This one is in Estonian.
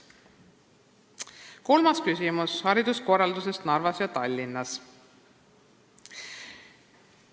Kolmas küsimus on Narva ja Tallinna hariduskorralduse kohta.